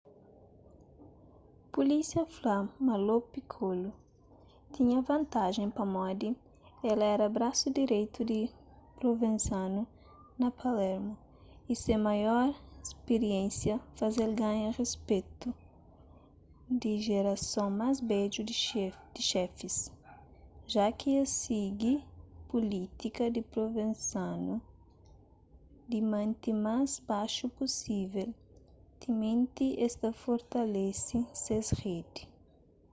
pulísia fla ma lo piccolo tinha vantajen pamodi el éra brasu direitu di provenzano na palermo y se maior spiriénsia faze-l ganha respetu di jerason más bedju di xefis ja ki es sigi pulítika di provenzano di mante más baxu pusível timenti es ta fortalese ses redi